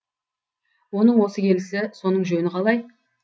оның осы келісі соның жөні қалай